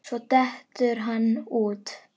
Svo dettur hann út.